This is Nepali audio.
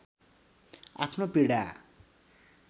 आफ्नो पीडा